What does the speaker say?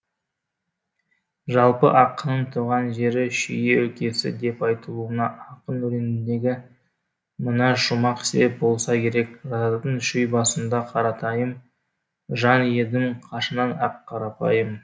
жалпы ақынның туған жері шүй өлкесі деп айтылуына ақын өлеңіндегі мына шумақ себеп болса керек жататын шүй басында қаратайым жан едім қашаннан ақ қарапайым